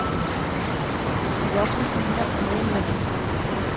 De voksnes miner er noget mere anstrengte.